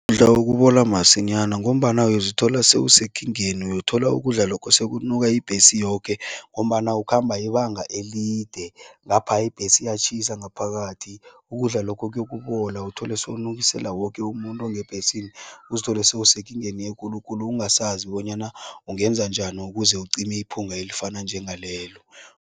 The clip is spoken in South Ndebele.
okubola masinyana ngombana uyozithola sewusekingeni, uyothola ukudla lokho sekunuka ibhesi yoke ngombana ukhamba ibanga elide, ngapha ibhesi iyatjhisa ngaphakathi. Ukudla lokho kuyokubola, uthole sewunukisela woke umuntu ongebhesini, uzithole sewusekingeni ekulu khulu ungasazi bonyana ungenza njani ukuze ucime iphunga elifana njengalelo.